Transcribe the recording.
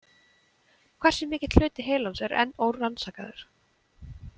Hversu mikill hluti heilans er enn órannsakaður?